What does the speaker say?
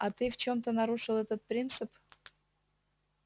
а ты в чём-то нарушил этот принцип